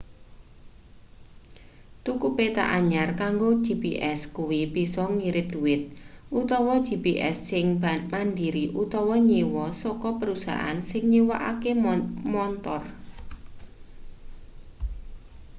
tuku peta anyar kanggo gps kuwi bisa ngirit dhuwit utawa gps sing mandiri utawa nyewa saka perusahaan sing nyewakake montor